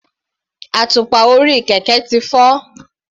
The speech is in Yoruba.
Àtùpà orí kẹ̀kẹ́ ti fọ́.